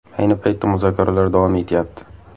Ayni paytda muzokaralar davom etyapti.